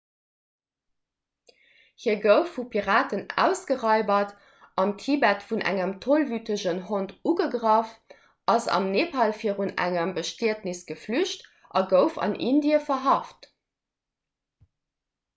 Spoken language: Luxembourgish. hie gouf vu piraten ausgeraibert am tibet vun engem tollwütegen hond ugegraff ass am nepal virun engem bestietnes geflücht a gouf an indie verhaft